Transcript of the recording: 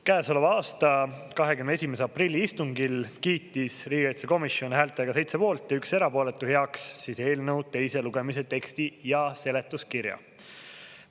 Käesoleva aasta 21. aprilli istungil kiitis riigikaitsekomisjon häältega 7 poolt ja 1 erapooletu heaks eelnõu teise lugemise teksti ja seletuskirja.